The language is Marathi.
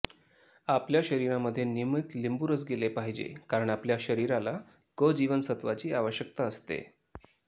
आपल्या शरीरामध्ये नियमित लिंबूरस गेले पाहिजे कारण आपल्या शरीराला क जीवन सत्वाची आवश्यकता असते